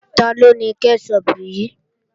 Taló ni kẹ́ṣọpù yìí?